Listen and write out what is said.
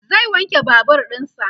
zai wanke Babur ɗinsa